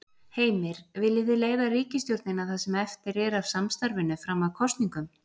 Heimir: Viljið þið leiða ríkisstjórnina það sem eftir er af samstarfinu fram að kosningum?